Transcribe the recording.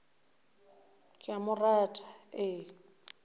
ke a mo rata e